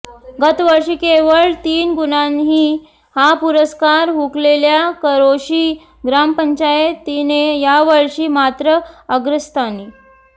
गतवर्षी केवळ तीन गुणांनी हा पुरस्कार हुकलेल्या करोशी ग्रामपंचायतीने यावर्षी मात्र अग्रस्थानी